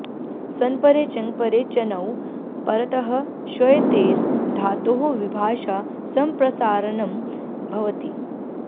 सन्परे चङ्परे च णौ परतः श्वयतेर् धातोः विभाषा सम्प्रसारणं भवति